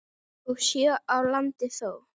og sjö á landi þó.